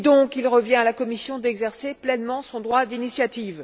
Il revient donc à la Commission d'exercer pleinement son droit d'initiative.